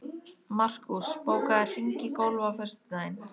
Markús, bókaðu hring í golf á föstudaginn.